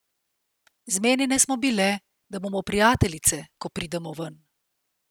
Zmenjene smo bile, da bomo prijateljice, ko pridemo ven.